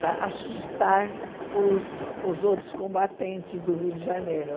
dar assustar os os outros combatentes do Rio de Janeiro.